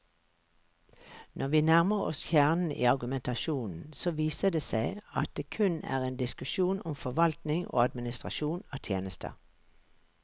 Når vi nærmer oss kjernen i argumentasjonen, så viser det seg at det kun er en diskusjon om forvaltning og administrasjon av tjenester.